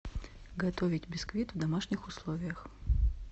готовить бисквит в домашних условиях